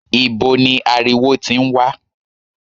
Ibo ni ariwo tí ń wá?